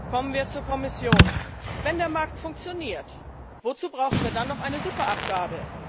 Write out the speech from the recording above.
Kommen wir zur Kommission Wenn der Markt funktioniert, wozu brauchen wir dann noch eine Superabgabe?